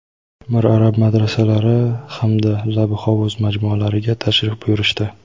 Mir arab madrasalari hamda Labi hovuz majmualariga tashrif buyurishdi.